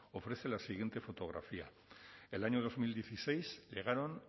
ofrece la siguiente fotografía el año dos mil dieciséis llegaron